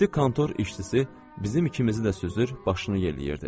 Ciddi kontor işçisi bizim ikimizi də süzür, başını yelləyirdi.